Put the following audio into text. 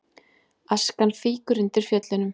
Askan fýkur undir Fjöllunum